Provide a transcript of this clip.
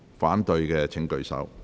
反對的請舉手。